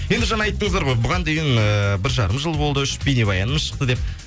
енді жаңа айттыңыздар ғой бұған дейін ііі бір жарым жыл болды үш бейнебаянымыз шықты деп